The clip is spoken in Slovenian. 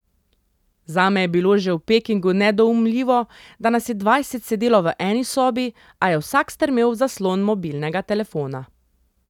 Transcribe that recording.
Zame je bilo že v Pekingu nedoumljivo, da nas je dvajset sedelo v eni sobi, a je vsak strmel v zaslon mobilnega telefona.